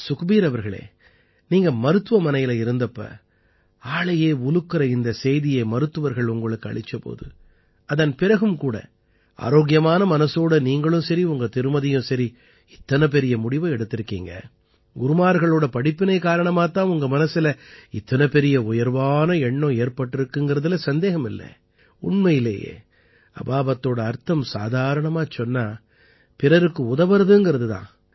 சுக்பீர் அவர்களே நீங்க மருத்துவமனையில இருந்தப்ப ஆளையே உலுக்கற இந்தச் செய்தியை மருத்துவர்கள் உங்களுக்கு அளிச்ச போது அதன் பிறகும் கூட ஆரோக்கியமான மனசோட நீங்களும் சரி உங்க திருமதியும் சரி இத்தனை பெரிய முடிவை எடுத்திருக்கீங்க குருமார்களோட படிப்பினை காரணமாத் தான் உங்க மனசுல இத்தனை பெரிய உயர்வான எண்ணம் ஏற்பட்டிருக்குங்கறதுல சந்தேகம் இல்லை உண்மையிலேயே அபாபத்தோட அர்த்தம் சாதாரணமாச் சொன்னா பிறருக்கு உதவறதுங்கறது தான்